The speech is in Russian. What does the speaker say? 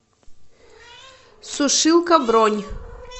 сушилка бронь